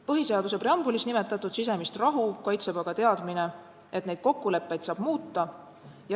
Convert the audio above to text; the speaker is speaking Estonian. Põhiseaduse preambulis nimetatud sisemist rahu kaitseb aga teadmine, et neid kokkuleppeid saab muuta.